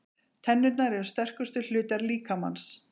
Tennurnar eru sterkustu hlutar líkamans.